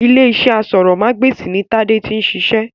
Ilé-iṣẹ́ aṣórómagbesìn ni tade tí ń ṣiṣẹ́